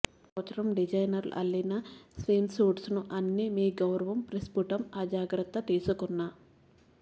ఈ సంవత్సరం డిజైనర్లు అల్లిన స్విమ్సూట్ను అన్ని మీ గౌరవం ప్రస్పుటం ఆ జాగ్రత్త తీసుకున్న